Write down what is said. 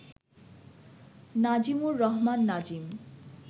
Nazimur Rahman Nazim